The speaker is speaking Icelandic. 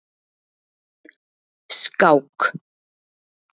Skák